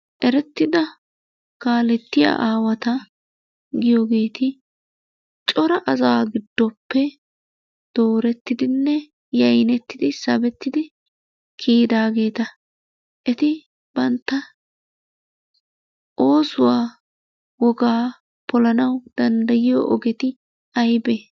Erettida kaalettiya aawata giyogeeti cora asaa giddoppe doorettidinne yaynettidi, sabettidi kiyidaageeta. Eti bantta oosuwa wogaa polanawu danddayiyo ogeti aybee?